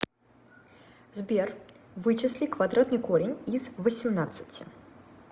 сбер вычисли квадратный корень из восемнадцати